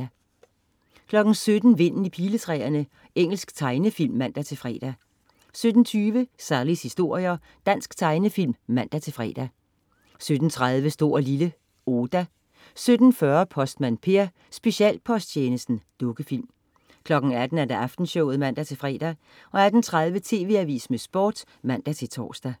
17.00 Vinden i piletræerne. Engelsk tegnefilm (man-fre) 17.20 Sallies historier. Dansk tegnefilm (man-fre) 17.30 Stor & Lille. Oda 17.40 Postmand Per: Specialposttjenesten. Dukkefilm 18.00 Aftenshowet (man-fre) 18.30 TV Avisen med Sport (man-tors)